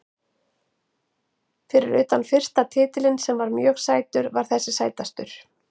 Fyrir utan fyrsta titilinn sem var mjög sætur var þessi sætastur.